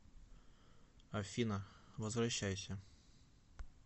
афина возвращайся